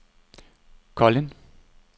Kolind